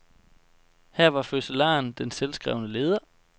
Her var fødselaren den selvskrevne leder.